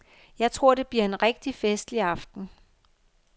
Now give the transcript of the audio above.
Jeg tror det bliver en rigtig festlig aften